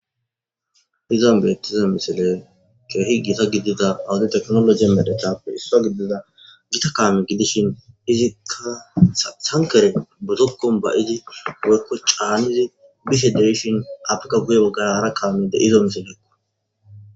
izan beettiza misile keehi gita gidida awudi teknoloi medetappe issa gidida gita kaame gidishin izika sankere budokkon bayidi goykko caanizi bisi deishin afrika guye woggara kaamede izo misilekko